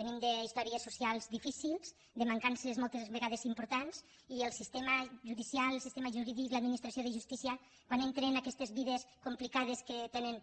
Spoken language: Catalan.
venim d’històries socials difícils de mancances moltes vegades importants i el sistema judicial el sistema jurídic l’administració de justícia quan entren en aquestes vides complicades que tenen